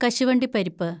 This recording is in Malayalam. കശുവണ്ടിപ്പരിപ്പ്